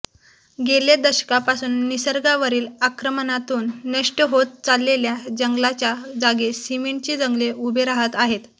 गेल्या दशकापासून निसर्गावरील आक्रमणातून नष्ट होत चाललेल्या जंगलाच्या जागी सिमेंटची जंगले उभी राहत आहेत